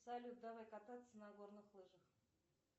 салют давай кататься на горных лыжах